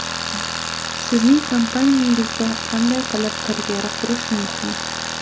Sizning kompaniyangizda qanday qilib karyera qurish mumkin?